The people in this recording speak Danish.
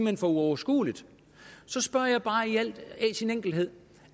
er for uoverskueligt så spørger jeg bare i al sin enkelhed